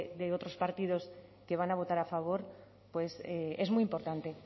de otros partidos que van a votar a favor pues es muy importante